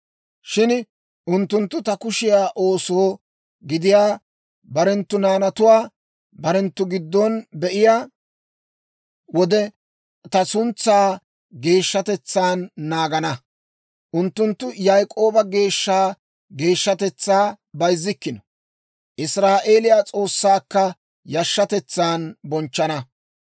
Shin unttunttu ta kushiyaa ooso gidiyaa barenttu naanatuwaa barenttu giddon be'iyaa wode, ta suntsaa geeshshatetsaan naagana; unttunttu Yaak'ooba Geeshsha geeshshatetsaa bayzzikkino. Israa'eeliyaa S'oossaakka yashshatetsan bonchchana.